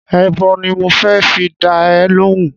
Èèbó ni mo fẹ́ fi dá ẹ lóhùn-ún